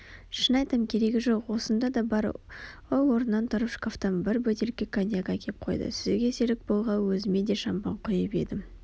шын айтам керегі жоқ осында да бар ол орнынан тұрып шкафтан бір бөтелке коньяк әкеп қойды сізге серік болғалы өзіме де шампан құйып едім